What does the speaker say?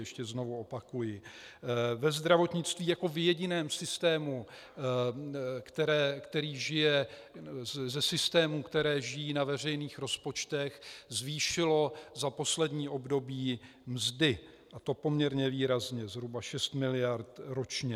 Ještě znovu opakuji, ve zdravotnictví jako v jediném systému, který žije ze systémů, které žijí na veřejných rozpočtech, zvýšilo za poslední období mzdy, a to poměrně výrazně - zhruba 6 miliard ročně.